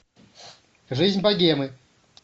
жизнь богемы